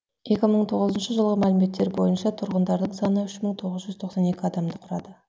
екі мың тоғызыншы жылғы мәліметтер бойынша тұрғындарының саны үш мың тоғыз жүз тоқсан екі адамды құрады